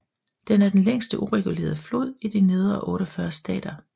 Den er den længste uregulerede flod i de nedre 48 stater